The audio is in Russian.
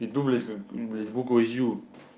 иду блять как блять буква зю